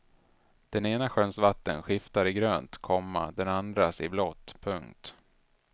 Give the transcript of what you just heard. Den ena sjöns vatten skiftar i grönt, komma den andras i blått. punkt